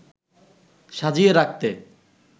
সাজিয়ে রাখতে